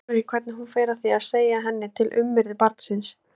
Edda þolir ekki hvernig hún fer að því að segja henni til við umhirðu barnsins.